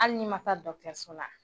Hali n'i man taa so la.